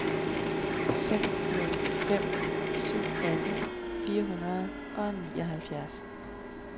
fem nul fem syv atten fire hundrede og nioghalvfjerds